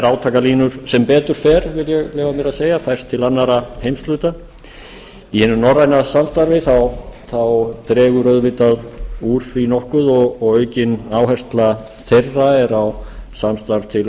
þær átakalínur sem betur fer vil ég leyfa mér að segja færst til annarra heimshluta í hinu norræna samstarfi dregur auðvitað úr því nokkuð og aukin áhersla þeirra er á samstarf til